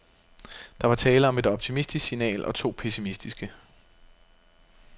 Der var tale om et optimistisk signal og to pessimistiske.